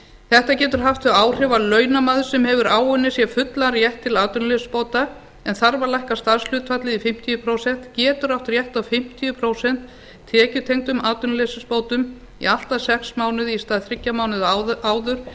þetta getur haft þau áhrif að launamaður sem hefur áunnið sér fullan rétt til atvinnuleysisbóta en þarf að lækka starfshlutfallið í fimmtíu prósent getur átt rétt á fimmtíu prósent tekjutengdum atvinnuleysisbótum í allt að sex mánuði í stað þriggja mánaða áður